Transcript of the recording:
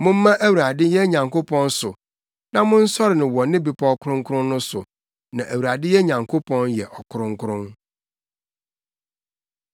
Momma Awurade yɛn Nyankopɔn so na monsɔre no wɔ ne bepɔw kronkron no so, na Awurade yɛn Nyankopɔn yɛ ɔkronkron.